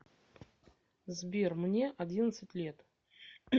сбер мне одиннадцать лет